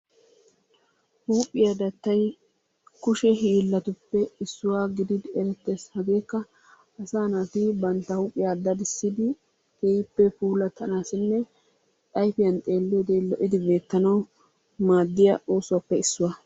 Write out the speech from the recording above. Huuphiya dattay kushe hiilatuppe issuwa gididi erettees, hageekka asaa naati bantta huuphiya daddissidi keehippe puulattanaassinne ayfiyan xeeliyode lo'idi beetanawu maadiya oosuwappe issuwa.